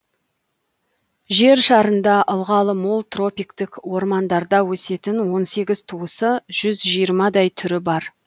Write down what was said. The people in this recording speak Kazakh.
жер шарында ылғалы мол тропиктік ормандарда өсетін он сегіз туысы жүз жиырмадай түрі бар